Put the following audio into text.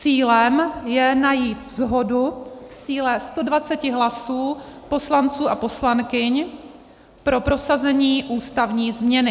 Cílem je najít shodu v síle 120 hlasů poslanců a poslankyň pro prosazení ústavní změny.